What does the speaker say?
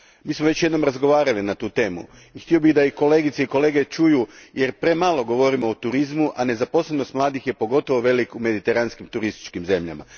Već smo jednom razgovarali na tu temu i htio bih da kolegice i kolege čuju, jer premalo govorimo o turizmu, a nezaposlenost mladih je pogotovo velika u mediteranskim turističkim zemljama.